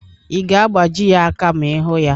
Ị ga-agbaji ya aka ma ịhụ ya?